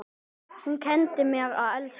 Hún kenndi mér að elska.